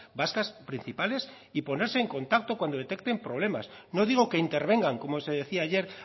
vascas principales y ponerse en contacto cuando detecten problemas no digo que intervengan como se decía ayer